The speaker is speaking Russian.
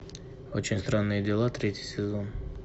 очень странные дела третий сезон